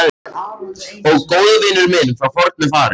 Og góðvinur minn frá fornu fari.